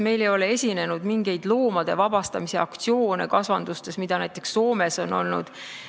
Meil ei ole olnud kasvandustes mingeid loomade vabastamise aktsioone, mida näiteks Soomes on olnud.